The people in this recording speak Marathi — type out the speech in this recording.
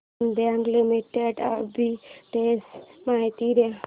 देना बँक लिमिटेड आर्बिट्रेज माहिती दे